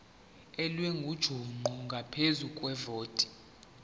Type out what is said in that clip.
elingujuqu ngaphezu kwevoti